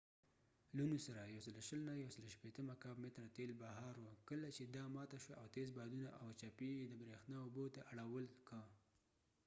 لونو سره ۱۲۰–۱۶۰ مکعب متره تیل بهار وو کله چې دا ماته شوه او تيز بادونه او چپي یې د بریښنا اوبو ته اړول که